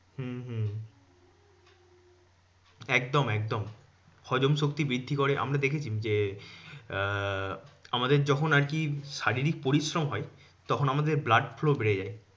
হম হম একদম একদম হজমশক্তি বৃদ্ধি করে। আমরা দেখেছি যে, আহ আমাদের যখন আরকি শারীরিক পরিশ্রম হয়, তখন আমাদের blood flow বেড়ে যায়।